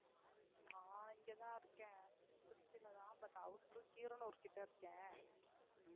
நான் இங்கத்தாத்தான் இருக்கேன் திருச்சில தான் but outer கீரனூர் கிட்ட இருக்கேன்.